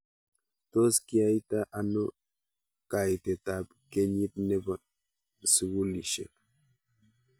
Tos kiyaita ano kaitet ab kenyit nepo sukulishhek